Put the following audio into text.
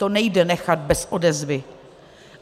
To nejde nechat bez odezvy.